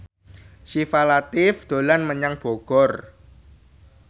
Syifa Latief dolan menyang Bogor